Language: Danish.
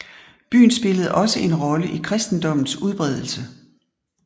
Byen spillede også en rolle i kristendommens udbredelse